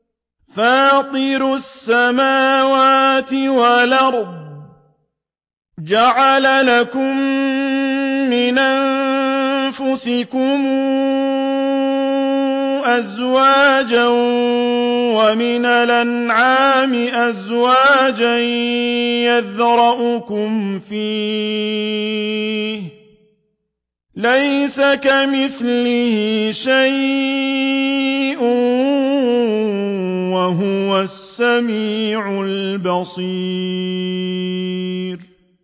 فَاطِرُ السَّمَاوَاتِ وَالْأَرْضِ ۚ جَعَلَ لَكُم مِّنْ أَنفُسِكُمْ أَزْوَاجًا وَمِنَ الْأَنْعَامِ أَزْوَاجًا ۖ يَذْرَؤُكُمْ فِيهِ ۚ لَيْسَ كَمِثْلِهِ شَيْءٌ ۖ وَهُوَ السَّمِيعُ الْبَصِيرُ